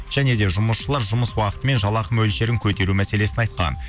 және де жұмысшылар жұмыс уақыты мен жалақы мөлшерін көтеру мәселесін айтқан